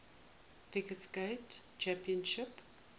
figure skating championships